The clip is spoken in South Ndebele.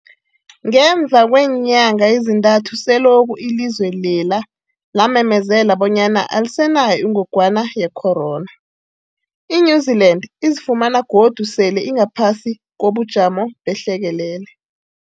Ngemva kweenyanga ezintathu selokhu ilizwe lela lamemezela bonyana alisenayo ingogwana ye-corona, i-New-Zealand izifumana godu sele ingaphasi kobujamo behlekelele.